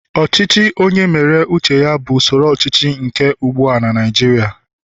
ochichi onye mere uche ya bu usoro ochichi nke no ugbua na Naijiria